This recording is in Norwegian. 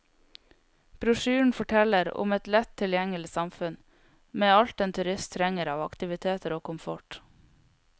Brosjyren forteller om et lett tilgjengelig samfunn med alt en turist trenger av aktiviteter og komfort.